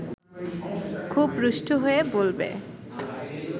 খুব রুষ্ট হয়ে বলবে